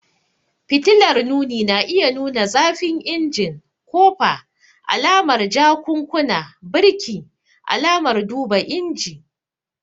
Fitilar nuni na iya nuna zafin injin, kofa, alamar jakunkuna, birki, alamar duba inji.